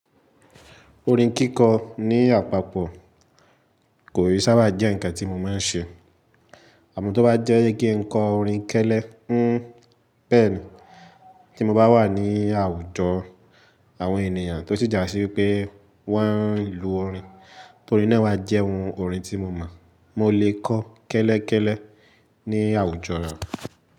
Orin kíkọ ní àpapọ̀ kò rí sábà jẹ́ ǹkan tí mo máa ń ṣe. Àmọ́ tó bá jẹ́ kí n kọ orin kẹ́lẹ́, hín bẹ̀ ní ti mo bá wà ní àwùjọ àwọn ènìyàn tó sì jásí pé wọ́n ń lu orin, torí náà wa jẹ́ ohun orin tí mo mọ̀, mo lè kọ́ kẹ́lẹ́kẹ́lẹ́ ní àwùjọ náà.